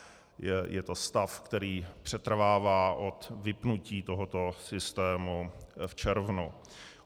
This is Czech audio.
Je to stav, který přetrvává od vypnutí tohoto systému v červnu.